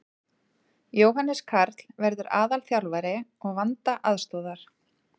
Jóhannes Karl verður aðalþjálfari og Vanda aðstoðar.